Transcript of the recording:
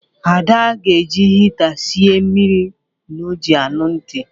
Ada ga-eji hịta siei mmiri o ji aṅụ tị